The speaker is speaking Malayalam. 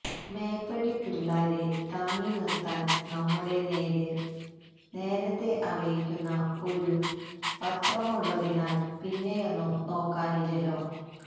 മേപ്പടി പിള്ളാരെ താങ്ങിനിര്ത്താന് നമ്മുടെ നേര് നേരത്തെ അറിയിക്കുന്ന ഒരു പത്രമുള്ളതിനാല് പിന്നെയൊന്നും നോക്കാനില്ലല്ലോ